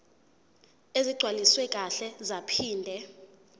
ezigcwaliswe kahle zaphinde